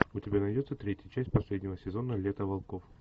у тебя найдется третья часть последнего сезона лето волков